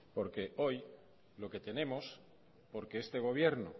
porque hoy lo que tenemos porque este gobierno